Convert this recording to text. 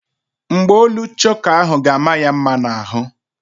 Mgbaolu choka ahụ ga-ama ya mma n'ahụ.